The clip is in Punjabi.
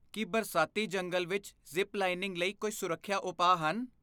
ਕੀ ਬਰਸਾਤੀ ਜੰਗਲ ਵਿੱਚ ਜ਼ਿਪ ਲਾਈਨਿੰਗ ਲਈ ਕੋਈ ਸੁਰੱਖਿਆ ਉਪਾਅ ਹਨ?